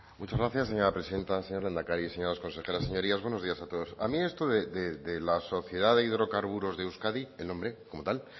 muchas gracias señora presidenta señor lehendakari señoras consejeras señorías buenos días a todos a mí esto de la sociedad de hidrocarburos de euskadi el nombre como tal